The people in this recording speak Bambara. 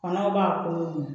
b'a kolon